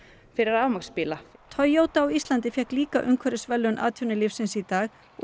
fyrir rafmagnsbíla Toyota á Íslandi fékk líka umhverfisverðlaun atvinnulífsins í dag og